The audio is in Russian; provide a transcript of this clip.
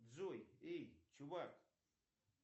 джой эй чувак